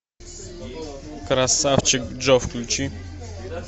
красавчик джо включи